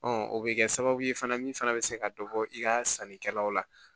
o bɛ kɛ sababu ye fana min fana bɛ se ka dɔ bɔ i ka sannikɛlaw la